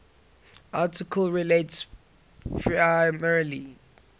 article relates primarily